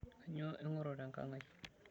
Kainyoo ing'oru tenkang' ai?